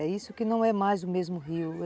É isso que não é mais o mesmo rio.